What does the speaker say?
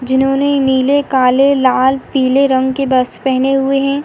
जिन्होंने नीले काले लाल पीले रंग के बस पहने हुए हैं।